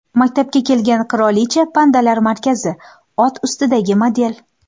Maktabga kelgan qirolicha, pandalar markazi, ot ustidagi model.